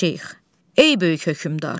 Ey böyük hökmdar!